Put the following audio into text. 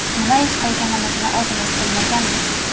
Nima ish qilganimizni o‘zimiz bilmaganmiz.